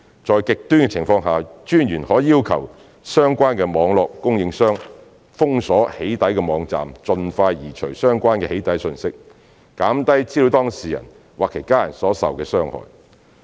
在極端情況下，私隱專員可要求相關網絡供應商封鎖"起底"網站，盡快移除相關"起底"訊息，減低資料當事人或其家人所受的傷害。